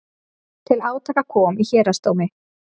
Til átaka kom í héraðsdómi